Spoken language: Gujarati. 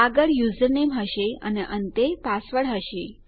આગળ યુઝરનેમ હશે અને અંતે પાસવર્ડ હશે